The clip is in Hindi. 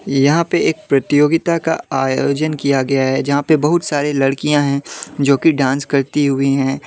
यहां पे एक प्रतियोगिता का आयोजन किया गया है जहां पे बहुत सारी लड़कियां हैं जो कि डांस करती हुई हैं ।